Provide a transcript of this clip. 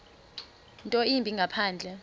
nto yimbi ngaphandle